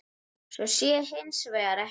Svo sé hins vegar ekki.